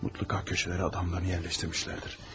Mutlu Kak köşələri adamlarını yerləşdirmişlər.